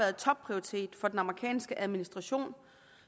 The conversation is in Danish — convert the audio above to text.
topprioritet for den amerikanske administration